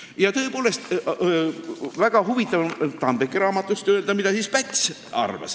Ja tõepoolest, väga huvitav on Tambeki raamatust lugeda, mida siis Päts arvas.